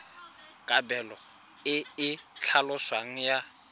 kabelo e e tlhaloswang ya